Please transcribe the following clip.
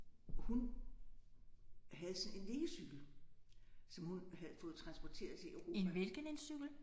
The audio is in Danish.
Hun havde sådan en liggecykel som hun havde fået transporteret til Europa